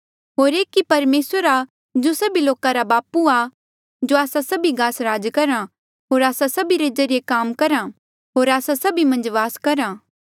होर एक ई परमेसर आ जो सभी लोका रा बापू आ जो आस्सा सभी गास राज करहा होर आस्सा सभी रे ज्रीए काम करहा होर आस्सा सभी मन्झ वास करहा